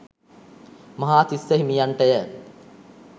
Mahatissa හිමියන්ටය.